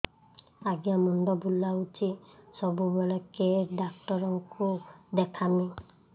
ଆଜ୍ଞା ମୁଣ୍ଡ ବୁଲାଉଛି ସବୁବେଳେ କେ ଡାକ୍ତର କୁ ଦେଖାମି